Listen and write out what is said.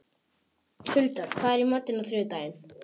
Huldar, hvað er í matinn á þriðjudaginn?